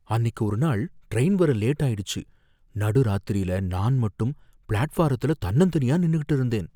அன்னிக்கு ஒரு நாள் ட்ரெயின் வர லேட் ஆயிடுச்சு, நடுராத்திரில நான் மட்டும் பிளாட்ஃபாரத்ல தன்னந்தனியா நின்னுக்கிட்டு இருந்தேன்.